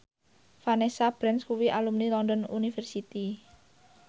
Vanessa Branch kuwi alumni London University